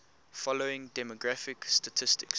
following demographic statistics